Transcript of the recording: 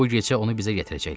Bu gecə onu bizə gətirəcəklər.